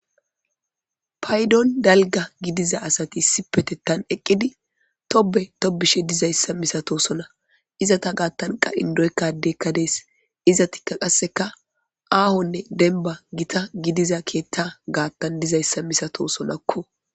paydon dalga gidiza asati sipete tan eqqidi tobe tobishe dizayssa misato sona izata gaattanqa indoykkadeekka dees izatikka qasseka aahonne denba gita gidiza keetta gaattan dizayssa misato sonakko